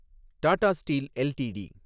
Tata steel LTD